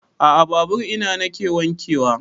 A'a babur ina nake wanke wa